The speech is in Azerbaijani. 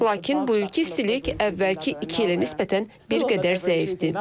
Lakin bu ilki istilik əvvəlki iki ilə nisbətən bir qədər zəifdir.